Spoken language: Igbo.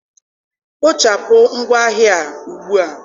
Kpochapụ ngwa ahịa a ugbu a!